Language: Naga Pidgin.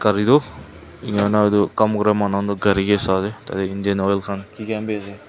gari toh enika kurina etu kam kura manu toh gari kae sai ase tatey india oil khan kiki khan vi ase.